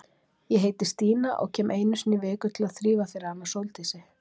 Ég heiti Stína og kem einu sinni í viku til að þrífa fyrir hana Sóldísi.